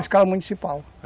A escola municipal.